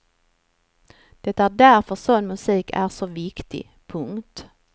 Det är därför sån musik är så viktig. punkt